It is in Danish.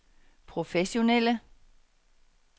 professionelle